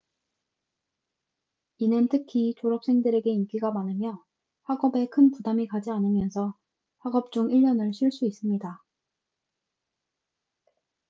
이는 특히 졸업생들에게 인기가 많으며 학업에 큰 부담이 가지 않으면서 학업 중 1년을 쉴 수 있습니다